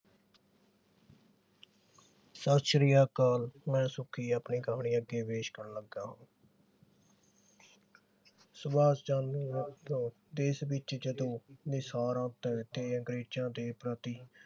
ਸਤ ਸ਼੍ਰੀ ਅਕਾਲ ਮੈਂ ਸੁੱਖੀ ਆਪਣੀ ਕਹਾਣੀ ਅੱਗੇ ਪੇਸ਼ ਕਰਨ ਲੱਗਾ ਹਾਂ ਸੁਭਾਸ਼ ਚੰਦ ਦੇਸ਼ ਵਿਚ ਜਦੋਂ ਤੇ ਅੰਗਰੇਜ਼ਾਂ ਦੇ ਪ੍ਰਤੀ